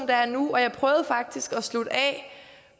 der er nu og jeg prøvede faktisk at slutte af